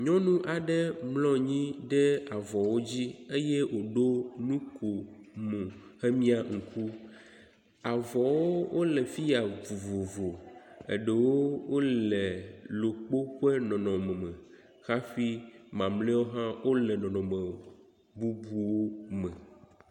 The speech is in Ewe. Nyɔnu aɖe mlɔ anyi ɖe avɔwo dzi eye woɖo nukomo hemia ŋku. Avɔwo wo le fiya woku vovo eɖewo wo le ɖokpo ƒe nɔnɔme me hafi mameawo hã wo le nɔnɔme bubuwo me.